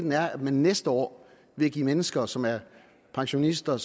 er at man næste år vil give mennesker som er pensionister